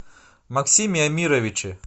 максиме амировиче